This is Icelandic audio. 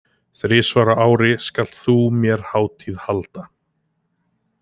Þrisvar á ári skalt þú mér hátíð halda.